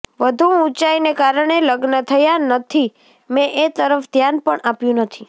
વધુ ઊંચાઈને કારણે લગ્ન થયા નથી મે એ તરફ ધ્યાન પણ આપ્યું નથી